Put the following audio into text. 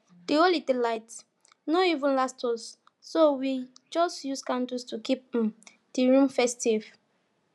the holiday lights no even last so we just use candles to keep um the room festive